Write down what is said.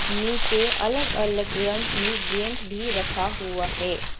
नीचे अलग अलग रंग के गेंद भी रखा हुआ है।